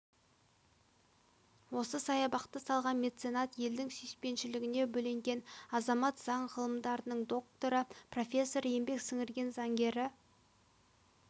осы саябақты салған меценат елдің сүйіспеншілігіне бөленген азамат заң ғылымдарының докторы профессор еңбек сіңірген заңгері